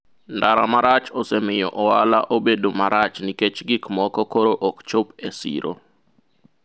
ndara marach osemiyo ohala obedo marach nikech gik moko koro ok chop e siro